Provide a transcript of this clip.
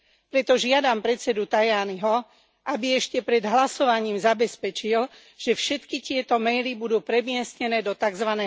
Preto žiadam predsedu Tajaniho, aby ešte pred hlasovaním zabezpečil, že všetky tieto maily budú premiestnené do tzv.